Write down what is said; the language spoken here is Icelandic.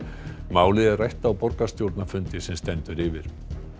málið er rætt á borgarstjórnarfundi sem nú stendur yfir